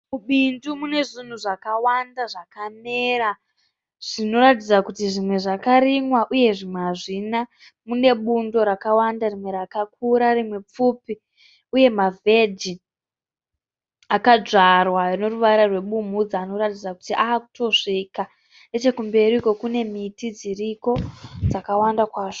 Mubindu mune zvinhu zvakawanda zvakamera zvinoratidzira kuti zvimwe zvakarimwa uye zvimwe hazvina. Mune bundo rakawanda rimwe rakakura rimwe pfupi uye mavheji akadzvarwa ane ruvara rwebumhudza anoratidza kuti ava kutosvika. Nechekumberi uko kune miti dziriko dzakawanda kwazvo.